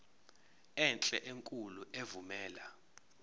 enhle enkulu evumela